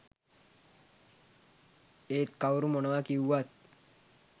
ඒත් කවුරු මොනවා කිව්වත්